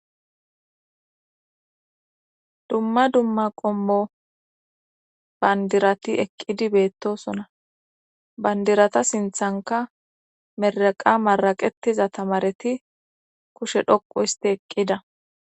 dumma dumma qommo banddirati eqqidi beettoosona bandirata sinttankka mireqa maraqettiza tamareti kushe dhoqqu istte eqqida.